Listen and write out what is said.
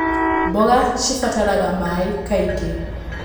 Mboga cibataraga maĩ kaingĩ.